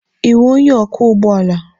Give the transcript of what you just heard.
Ị wụ onye ọkwọ ụgbọala?